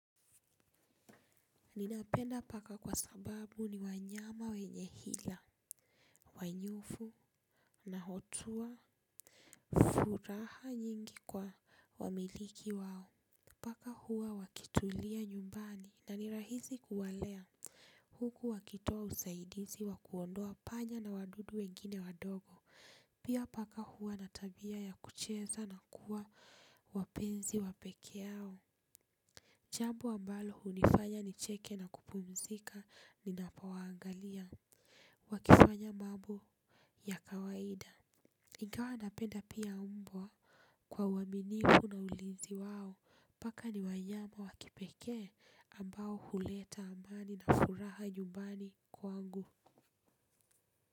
Ninapenda paka kwa sababu ni wanyama wenye hila, wa nyufu na hotua furaha nyingi kwa wamiliki wao. Paka huwa wakitulia nyumbani na ni rahisi kuwalea huku wakitoa usaidizi wa kuondoa panya na wadudu wengine wadogo. Pia paka huwa na tabia ya kucheza na kuwa wapenzi wa pekee hao. Jambo ambalo hunifanya nicheke na kupumzika ninapowaangalia. Wakifanya mambo ya kawaida. Ingawa napenda pia mbwa kwa uaminifu na ulinzi wao. Paka ni wanyama wa kipekee ambao huleta amani na furaha nyumbani kwangu.